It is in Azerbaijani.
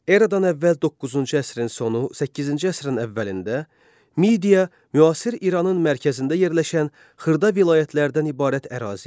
Eradan əvvəl 9-cu əsrin sonu, 8-ci əsrin əvvəlində Midiya müasir İranın mərkəzində yerləşən xırda vilayətlərdən ibarət ərazi idi.